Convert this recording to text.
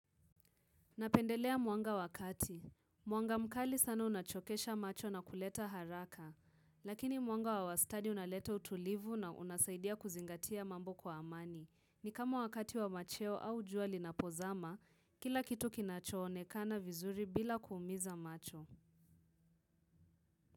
Napendelea mwanga wakati. Mwanga mkali sana unachokesha macho na kuleta haraka. Lakini mwanga wa wastani unaleta utulivu na unasaidia kuzingatia mambo kwa amani. Ni kama wakati wa macheo au jua linapozama, kila kitu kinachoonekana vizuri bila kuumiza macho.